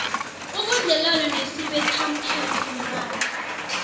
ubudlelwana nesibethamthetho nebandla